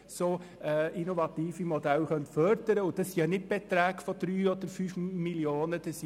Es handelt sich aber dabei nicht um Beträge in der Höhe von 3 oder 5 Mio. Franken.